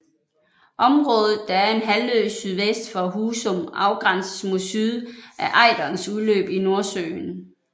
Området der er en halvø sydvest for Husum afgrænses mod syd af Ejderens udløb i Nordsøen